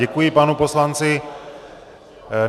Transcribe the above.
Děkuji panu poslanci.